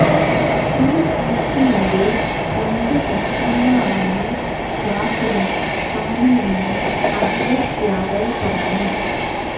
ഒരു സൈക്കിളിന്റെ രണ്ട് ചക്രങ്ങളാണ രാഹുലും താനുമെന്ന് അഖിലേഷ് യാദവ് പറഞ്ഞു